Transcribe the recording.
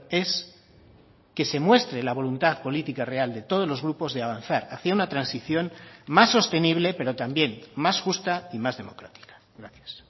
es que se muestre la voluntad política real de todos los grupos de avanzar hacia una transición más sostenible pero también más justa y más democrática gracias